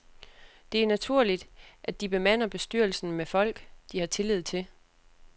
Det er naturligt, at de bemander bestyrelserne med folk, de har tillid til.